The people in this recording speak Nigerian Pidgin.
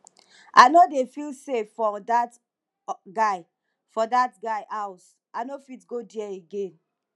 i no dey feel safe for dat guy for dat guy house i no fit go there again